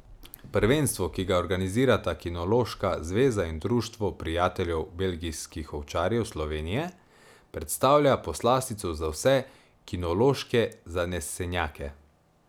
Prvenstvo, ki ga organizirata kinološka zveza in Društvo prijateljev belgijskih ovčarjev Slovenije, predstavlja poslastico za vse kinološke zanesenjake.